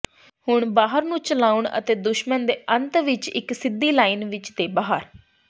ਹੁਣ ਬਾਹਰ ਨੂੰ ਚਲਾਉਣ ਅਤੇ ਦੁਸ਼ਮਣ ਦੇ ਅੰਤ ਵਿੱਚ ਇੱਕ ਸਿੱਧੀ ਲਾਈਨ ਵਿੱਚ ਦੇ ਬਾਹਰ